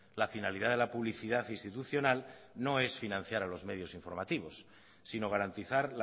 la finalidad de la publicidad institucional no es financiar a los medios informativos sino garantizar